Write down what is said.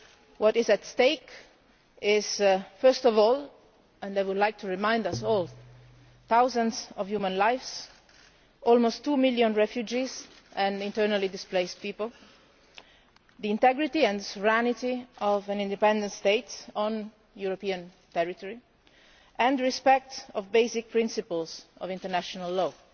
What is at stake first of all, I would like to remind us all, are thousands of human lives, almost two million refugees and internally displaced people, the integrity and sovereignty of an independent state on European territory, and respect for basic principles of international law